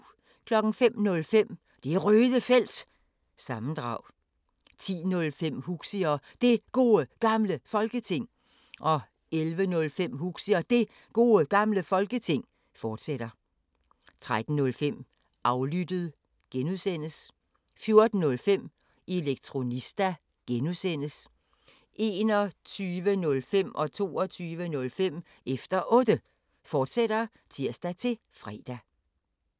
05:05: Det Røde Felt – sammendrag 10:05: Huxi og Det Gode Gamle Folketing 11:05: Huxi og Det Gode Gamle Folketing, fortsat 13:05: Aflyttet (G) 14:05: Elektronista (G) 21:05: Efter Otte, fortsat (tir-fre) 22:05: Efter Otte, fortsat (tir-fre)